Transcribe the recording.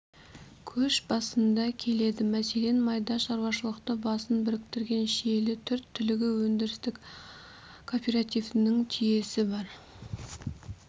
көш басында келеді мәселен майда шаруашылықтың басын біріктірген шиелі төрт түлігі өндірістік кооперативінің түйесі бар